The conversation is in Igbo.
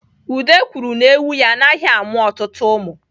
Ude kwuru na ewu ya anaghị amụ ọtụtụ ụmụ.